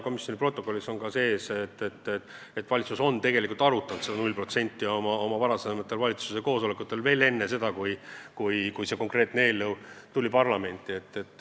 Meie protokollis on kirjas, et valitsus on seda 0% määra arutanud oma varasematel koosolekutel veel enne seda, kui see konkreetne eelnõu tuli parlamenti.